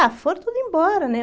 Ah, foram todos embora, né?